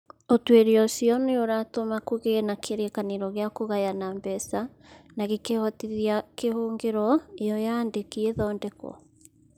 Ũtuĩria ũcio nĩ ũratũma kũgĩe na kĩrĩkanĩro gĩa kũgayana mbeca na gĩkĩhotithia kĩhũngĩro ĩyo ya aandĩki ĩthondekwo.